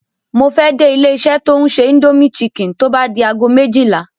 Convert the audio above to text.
Mo fẹ́ dé ilé-iṣẹ́ tó ń ṣe Indomie Chicken tó bá di aago méjìlá.